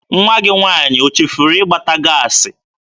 Nwa gị nwaanyị o chefuru ịgbata gaasị?